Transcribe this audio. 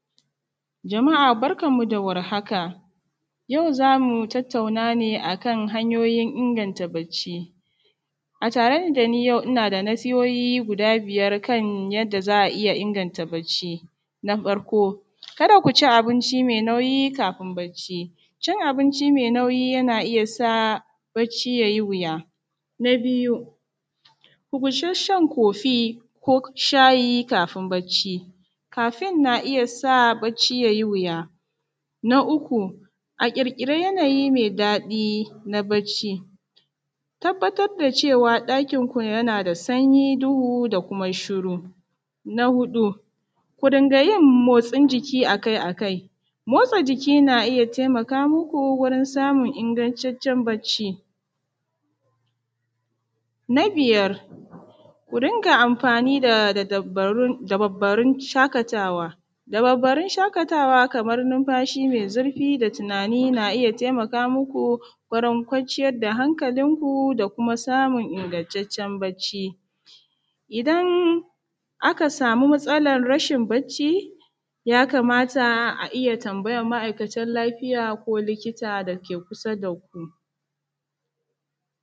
jama’a barkanmu da warhaka yau zamu tattauna hanyoyin inganta barci, a tare dani yau ina da nasihohi guda biyar kan yadda za a iya inganta barci na farko kada ku ci abinci mai nauyi kafin barci cin abinci mai nauyi yana iya sa barci ya yi wuya na biyu ku guji shan coffee ko shayi kafin barci caffeine yana iya sa yin barci ya yi wuya na uku a ƙirƙiri yanayi mai daɗi na barci tabbatar da cewa ɗakinku yana da sanyi duhu da kuma shuru na hudu ku dinka yin motsin jiki akai-akai motsa jiki na iya taimaka muku wajen samun ingantaccen barci na biyar ku dinga amfani da dababbaru dababbarun shaƙatawa dababbarun shaƙatawa kamar numfashi mai zurfi da tunani na iya taimaka muku wurin kwanciyar da hankalinku da kuma samun ingantacen barci idan aka samu matsalar rashin barci ya kamata a iya tambayan ma’aikatan lafiya ko likita da ke kusa da ku.